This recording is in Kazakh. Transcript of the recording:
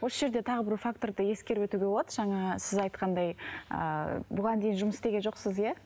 осы жерде тағы бір факторды ескеріп өтуге болады жаңа сіз айтқандай ыыы бұған дейін жұмыс істеген жоқсыз иә